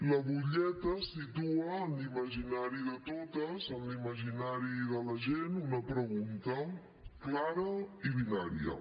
la butlleta situa en l’imaginari de totes en l’imaginari de la gent una pregunta clara i binària